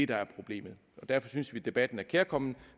der er problemet og derfor synes vi at debatten er kærkommen